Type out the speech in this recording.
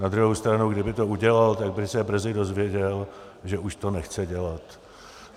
Na druhou stranu, kdyby to udělal, tak by se brzy dozvěděl, že už to nechce dělat.